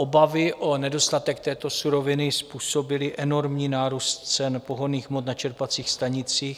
Obavy o nedostatek této suroviny způsobily enormní nárůst cen pohonných hmot na čerpacích stanicích.